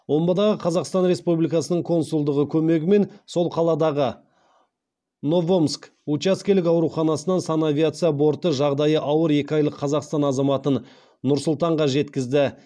омбыдағы қазақстан республикасының консулдығы көмегімен сол қаладағы новомск учаскелік ауруханасынан санавиация борты жағдайы ауыр екі айлық қазақстан азаматын нұр сұлтанға жеткізді